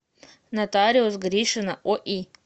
нотариус гришина ои